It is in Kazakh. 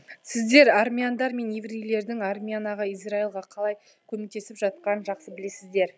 сіздер армяндар мен еврейлердің армянаға израильге қалай көмектесіп жатқанын жақсы білесіздер